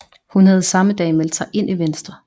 Hun havde samme dag meldt sig ind i Venstre